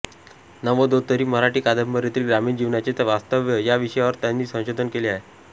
नव्वदोत्तरी मराठी कादंबरीतील ग्रामीण जीवनाचे वास्तव या विषयावर त्यांनी संशोधन केले आहे